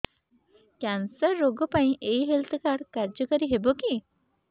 cancer ରୋଗ ପାଇଁ ଏଇ ହେଲ୍ଥ କାର୍ଡ କାର୍ଯ୍ୟକାରି ହେବ କି